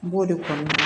N b'o de kɔnɔna la